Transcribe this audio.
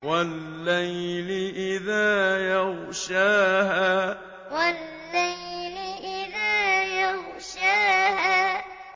وَاللَّيْلِ إِذَا يَغْشَاهَا وَاللَّيْلِ إِذَا يَغْشَاهَا